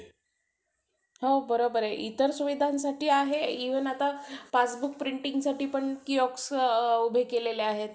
नंतर पाऊण पाऊण तासाचे अं lecture असायचे.